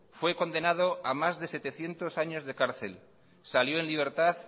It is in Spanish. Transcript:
fue condenado a más de setecientos años de cárcel salió en libertad